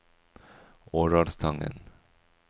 Årdalstangen